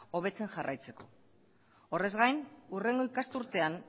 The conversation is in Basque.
hobetzen jarraitzeko horrez gain hurrengo ikasturtean